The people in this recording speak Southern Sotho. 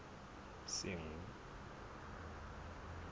senqu